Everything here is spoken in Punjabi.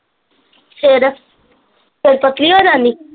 ਫਿਰ ਫੇਰ ਪਤਲੀ ਹੋ ਜਾਨੀ